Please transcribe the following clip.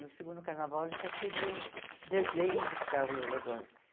No segundo carnaval, eles já queriam desenho dos cargos alegóricos.